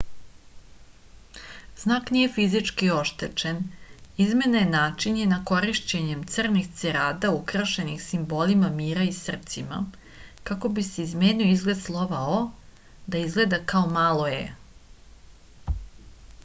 znak nije fizički oštećen izmena je načinjena korišćenjem crnih cerada ukrašenih simbolima mira i srcima kako bi se izmenio izgled slova o da izgleda kao malo e